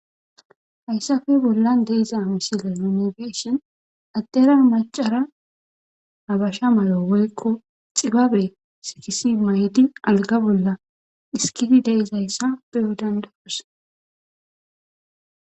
Hayssafe bolla deiza misila yunigeshion addera macara abasha malo woykko xibabre sikisi mayydi alga bolla iskidi deizayssa beyo dandakos.